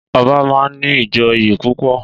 Ọba máa ń ní ìjòyè púpọ̀